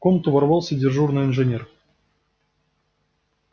в комнату ворвался дежурный инженер